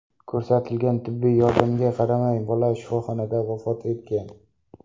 Ko‘rsatilgan tibbiy yordamga qaramay, bola shifoxonada vafot etgan.